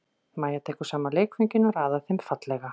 Mæja tekur saman leikföngin og raðar þeim fallega.